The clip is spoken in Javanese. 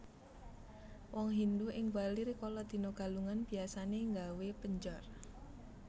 Wong Hindu ing Bali rikala dina Galungan biasané nggawé penjor